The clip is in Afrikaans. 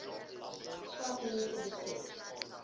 swart mense besit